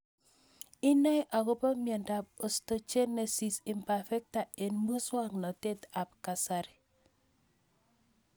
Inae akopo miondop Osteogenesis imperfecta eng' muswognatet ab kasari